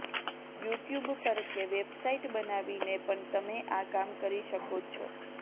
you tube પર કે website બનાવીને પણ તમે આ કામ કરી શકો છો